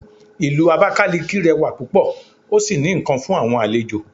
Ìlú abakaliki rẹwa púpò o sí ní nkán fún àwọn àlejò